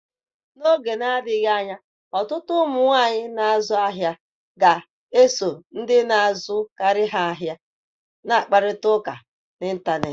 N’oge na-adịghị anya, ọtụtụ ụmụ nwanyị na azụ ahịa ga-eso ndị na-azụ karị ha ahịa na-akparịta ụka n’ịntanetị.